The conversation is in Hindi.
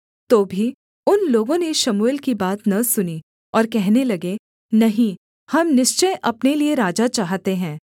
तो भी उन लोगों ने शमूएल की बात न सुनी और कहने लगे नहीं हम निश्चय अपने लिये राजा चाहते हैं